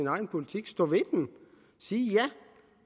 egen politik stå ved den og sige ja